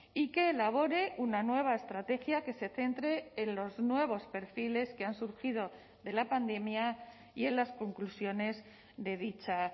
y que elabore una nueva estrategia que se centre en los nuevos perfiles que han surgido de la pandemia y en las conclusiones de dicha